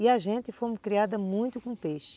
E a gente fomos criadas muito com peixe.